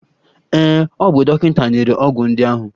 Ee, o bu dọkịta nyere ọgwụ ndị ahụ.